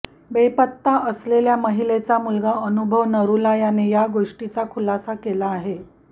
बेपत्ता असलेल्या महिलेचा मुलगा अनुभव नरुला याने या गोष्टीचा खुलासा केला आहे